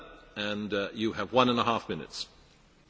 Herr Präsident, Herr Kommissar, Kolleginnen und Kollegen!